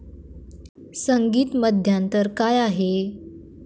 संगीत मध्यांतर काय आहे?